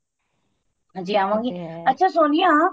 ਜੇ ਆਵਾਗੀ ਅੱਛਾ ਸੋਨੀਆ